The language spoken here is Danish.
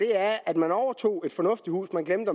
er at man overtog et fornuftigt hus men glemte